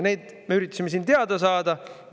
Neid me üritasime siin teada saada.